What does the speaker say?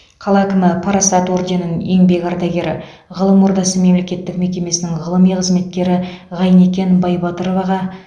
қала әкімі парасат орденін еңбек ардагері ғылым ордасы мемлекеттік мекемесінің ғылыми қызметкері ғайникен бибатыроваға